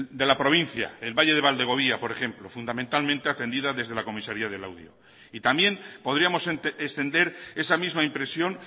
de la provincia el valle de valdegovía por ejemplo fundamentalmente atendida desde la comisaría de laudio y también podríamos extender esa misma impresión